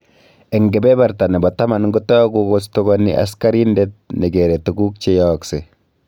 Eng kebeberta nebo katam, kotogu kostugani askarindet ne gere tuguk che yaakse